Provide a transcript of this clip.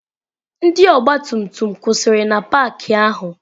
Ndị ọgbatumtum kwụsịrị na paakị ahụ.